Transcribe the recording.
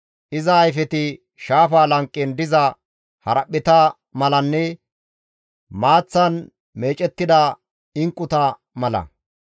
Iza ayfeti shaafa lanqen diza haraphpheta malanne maaththan meecettida inqquta mala.